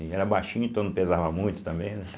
Ele era baixinho, então não pesava muito também, né.